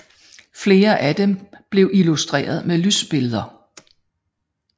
Flere af dem blev illustreret med lysbilleder